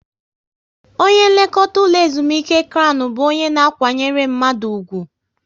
Onye nlekọta ụlọ ezumike Krown bụ onye na kwanyere mmadụ ugwu